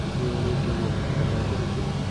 Nĩkĩ wũrĩte ũguo ta ndakũhĩtĩirie.